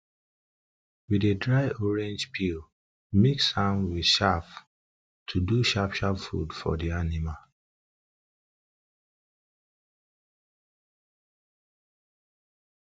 we dey dry orange peel mix peel mix am wit chaff do sharp sharp food for di anima